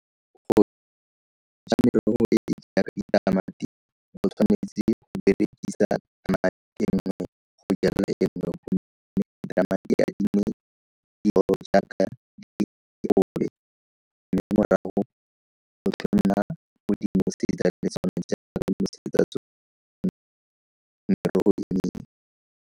Go ja merogo e e jaaka ditamati o tshwanetse go berekisa .